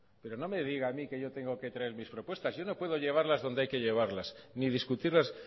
pero no me diga a mí que yo tengo que traer mis propuestas yo no puedo llevarlas donde hay que llevarlas ni discutirlas